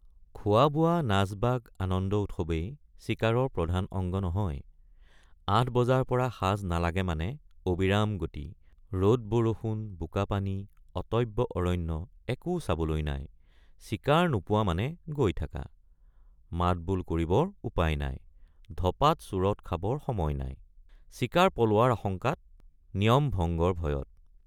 খোৱাবোৱা নাচবাগ আনন্দ উৎসৱেই চিকাৰৰ প্ৰধান অঙ্গ নহয় ৮ বজাৰপৰা সাঁজ নালাগে মানে অবিৰাম গতি ৰদ বৰষুণ বোকাপানী অটব্য অৰণ্য একো চাবলৈ নাই চিকাৰ নোপোৱা মানে গৈ থাকা মাতবোল কৰিবৰ উপায় নাই ধপাত চুৰট খাবৰ সময় নাই চিকাৰ পলোৱাৰ আশঙ্কাত নিয়ম ভঙ্গৰ ভয়ত।